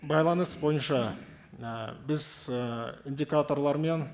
байланыс бойынша і біз і индикаторлармен